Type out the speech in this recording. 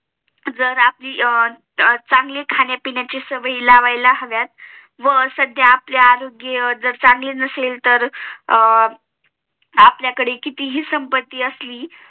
जर आपली चांगली खाण्या पिण्याची सवई लावायला ह्रवयात व जर आपले आरोग्य चांगले नसेल तर अं ओल्याकडे कितीही संप्पती असली